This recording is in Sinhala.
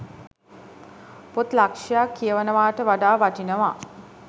පොත් ලක්ෂයක් කියවනවාට වඩා වටිනවා.